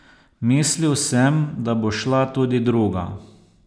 Mislil sem, da bo šla tudi druga.